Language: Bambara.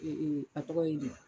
A tɔgɔ ye di